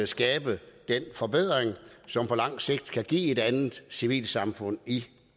skabe den forbedring som på lang sigt kan give et andet civilsamfund i